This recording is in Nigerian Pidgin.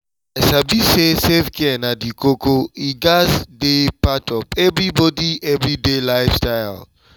i sabi say self-care na di koko e gatz dey part of everybody every day life style.